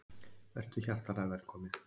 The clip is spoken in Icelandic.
Vertu hjartanlega velkominn.